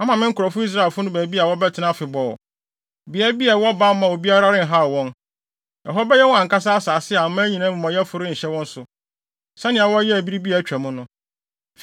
Mama me nkurɔfo Israelfo no baabi a wɔbɛtena afebɔɔ. Beae bi a ɛwɔ bammɔ a obiara renhaw wɔn. Ɛhɔ bɛyɛ wɔn ankasa asase a aman amumɔyɛfo renhyɛ wɔn so, sɛnea wɔyɛɛ bere bi a atwa mu no,